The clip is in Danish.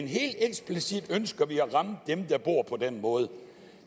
helt eksplicit at ramme dem der bor på den måde